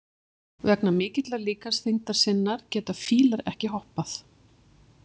Vegna mikillar líkamsþyngdar sinnar geta fílar ekki hoppað.